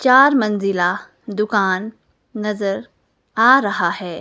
चार मंजिला दुकान नजर आ रहा है।